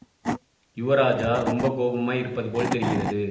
யுவராஜா ரொம்ப கோபமாய் இருப்பது போல் தெரிகிறது